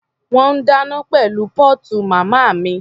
Wọ́n ń dáná pẹ̀lú póòtù màmá mi.